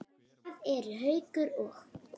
Hvað eru Haukur og